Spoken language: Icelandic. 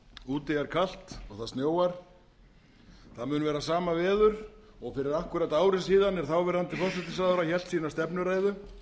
úti er kalt og það snjóar það mun vera sama veður og fyrir akkúrat ári síðan er þáverandi forsætisráðherra hélt sína stefnuræðu